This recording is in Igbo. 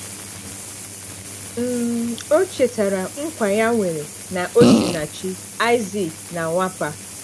um Ọ chetara nkwa ya nwere na Osinachi, Isaac na Nwapa.